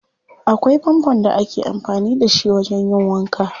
Akwai fanfon da ake amfani da shi wajen yin wanka.